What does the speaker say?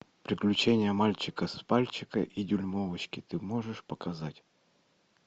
приключения мальчика с пальчика и дюймовочки ты можешь показать